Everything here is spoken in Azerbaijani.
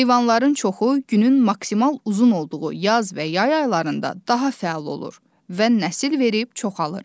Heyvanların çoxu günün maksimal uzun olduğu yaz və yay aylarında daha fəal olur və nəsil verib çoxalır.